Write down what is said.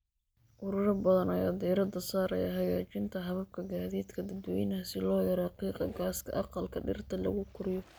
Ururo badan ayaa diiradda saaraya hagaajinta hababka gaadiidka dadweynaha si loo yareeyo qiiqa gaaska aqalka dhirta lagu koriyo.